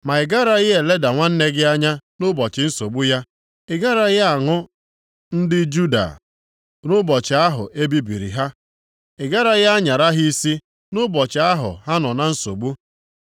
Ma ị garaghị eleda nwanne gị anya nʼụbọchị nsogbu ya, ị garaghị aṅụ ndị Juda nʼụbọchị ahụ e bibiri ha. Ị garaghị anyara ha isi nʼụbọchị ahụ ha nọ na nsogbu.